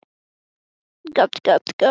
Á maður að skipta um bíómynd?